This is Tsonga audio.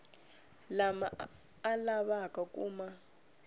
lama a lavaka ku ma